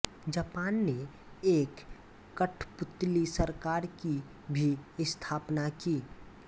Japan ने एक कठपुतली सरकार की भी स्थापना की